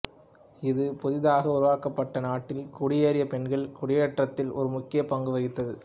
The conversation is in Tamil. இது புதிதாக உருவாக்கப்பட்ட நாட்டில் குடியேறிய பெண்களின் குடியேற்றத்தில் ஒரு முக்கிய பங்கு வகித்தது